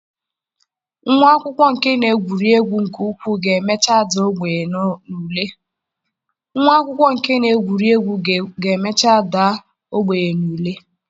Nwa akwụkwọ nke na-egwuri egwu nke ukwuu ga-emecha dara ogbenye n'ule.